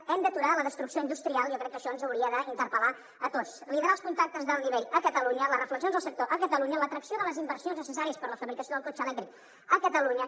hem d’aturar la destrucció industrial jo crec que això ens hauria d’interpel·lar a tots liderar els contactes d’alt nivell a catalunya les reflexions del sector a catalunya l’atracció de les inversions necessàries per la fabricació del cotxe elèctric a catalunya